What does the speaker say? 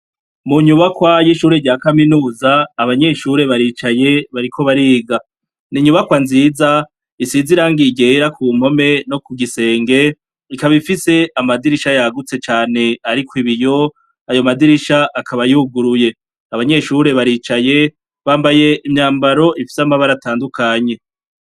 Mu nyubakwa y'ishure rya kaminuza abanyeshure baricaye bariko bariga, n'inyubakwa nziza isize irangi ryera ku mpome no ku gisenge, ikaba ifise amadirisha yagutse cane ariko ibiyo ayo madirisha akaba yuguruye, abanyeshure baricaye bambaye imyambaro ifise amabara atandukanye.